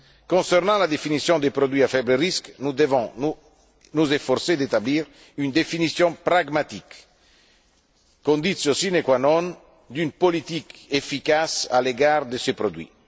Concernant la définition des produits à faible risque, nous devons nous efforcer d'établir une définition pragmatique, condition sine qua non d'une politique efficace à l'égard de ces produits.